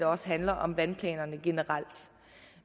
også handler om vandplanerne generelt